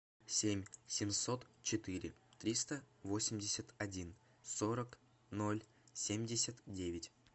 семь семьсот четыре триста восемьдесят один сорок ноль семьдесят девять